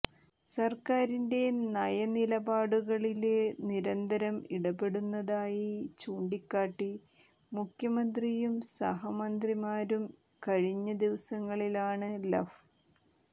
സര്ക്കാരിന്റെ നയനിലപാടുകളില് നിരന്തരം ഇടപെടുന്നതായി ചൂണ്ടിക്കാട്ടി മുഖ്യമന്ത്രിയും സഹമന്ത്രിമാരും കഴിഞ്ഞ ദിവസങ്ങളിലാണ് ലഫ്